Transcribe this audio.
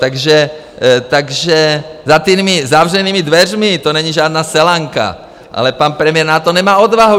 Takže za těmi zavřenými dveřmi to není žádná selanka, ale pan premiér na to nemá odvahu.